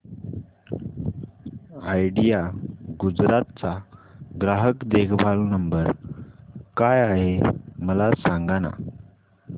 idea Gujarat चा ग्राहक देखभाल नंबर काय आहे मला सांगाना